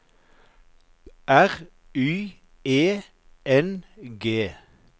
R Y E N G